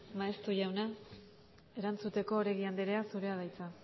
maeztu jauna erantzuteko oregi andrea zurea da hitza